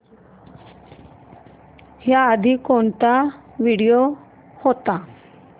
याआधी कोणता व्हिडिओ होता